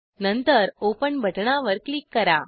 नंतर ओपन बटणावर क्लिक करा